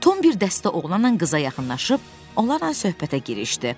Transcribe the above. Tom bir dəstə oğlanla qıza yaxınlaşıb, onlarla söhbətə girişdi.